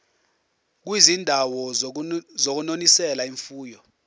kwizindawo zokunonisela imfuyo